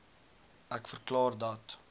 ek verklaar dat